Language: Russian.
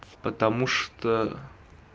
потому что